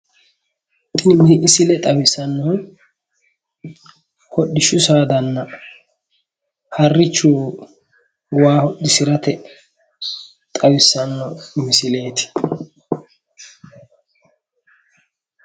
Tini misile xawissannohu hodhishshu saadanna harrichu waa hodhisirate xawissanno misileeti.